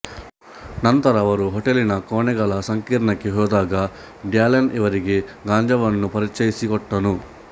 ನಂತರ ಅವರ ಹೋಟೆಲ್ಲಿನ ಕೋಣೆಗಳ ಸಂಕೀರ್ಣಕ್ಕೆ ಹೋದಾಗ ಡ್ಯಾಲನ್ ಇವರಿಗೆ ಗಾಂಜಾವನ್ನುಪರಿಚಯಿಸಿಕೊಟ್ಟನು